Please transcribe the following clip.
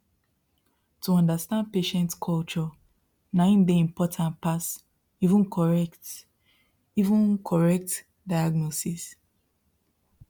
to understand patient culture na im dey important pass even correct even correct diagnosis